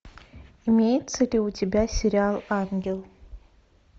имеется ли у тебя сериал ангел